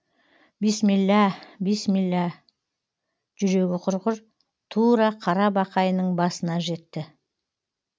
бисмилла бисмилла жүрегі құрғыр тура қара бақайының басына жетті